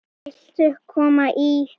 Viltu koma í?